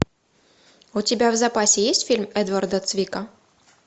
у тебя в запасе есть фильм эдварда цвика